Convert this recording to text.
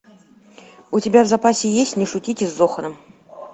у тебя в запасе есть не шутите с зоханом